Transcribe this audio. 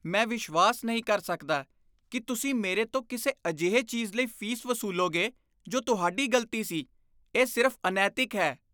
ਮੈਂ ਵਿਸ਼ਵਾਸ ਨਹੀਂ ਕਰ ਸਕਦਾ ਕਿ ਤੁਸੀਂ ਮੇਰੇ ਤੋਂ ਕਿਸੇ ਅਜਿਹੀ ਚੀਜ਼ ਲਈ ਫ਼ੀਸ ਵਸੂਲੋਗੇ, ਜੋ ਤੁਹਾਡੀ ਗ਼ਲਤੀ ਸੀ। ਇਹ ਸਿਰਫ਼ ਅਨੈਤਿਕ ਹੈ।